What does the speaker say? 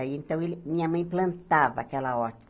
Aí então ele Minha mãe plantava aquela horta.